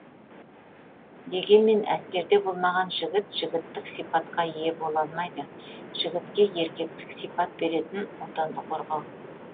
дегенмен әскерде болмаған жігіт жігіттік сипатқа ие бола алмайды жігітке еркектік сипат беретін отанды қорғау